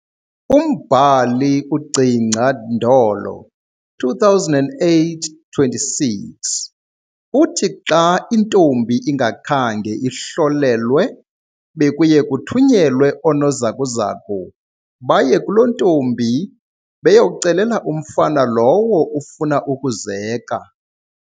Umbhali Gcingca Ndolo, 2008, 26, uthi Xa ke intombi ingakhange ihlolelwe bekuye kuthunyelwe oonozakuzaku baye kulo ntombi beyocelela umfana lowo ufuna ukuzeka.